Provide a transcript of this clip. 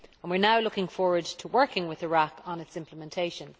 We are now looking forward to working with Iraq on its implementation.